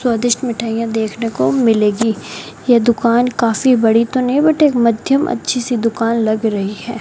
स्वादिष्ट मिठाइयों देखने को मिलेगी यह दुकान काफी बड़ी तो नहीं बट एक मध्यम अच्छी सी दुकान लग रही है।